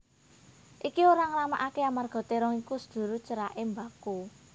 Iki ora ngéramaké amarga térong iku sedulur ceraké mbako